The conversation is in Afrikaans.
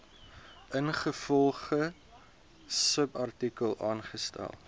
ingevolge subartikel aangestel